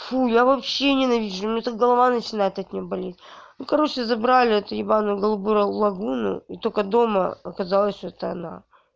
фу я вообще не навижу у меня так голова начинает от неё болеть ну короче забрали эту ебаную голубую лагуну и только дома оказалось что это она